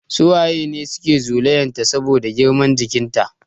Su waye ne suke zolayan ta saboda girman jikin ta?